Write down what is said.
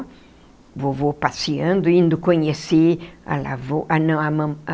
O vovô passeando, indo conhecer a lavou a não a mão a.